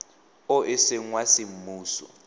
o e seng wa semmuso